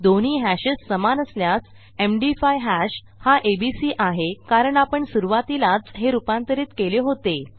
दोन्ही hashesसमान असल्यास एमडी5 हॅश हा एबीसी आहे कारण आपण सुरूवातीलाच हे रूपांतरित केले होते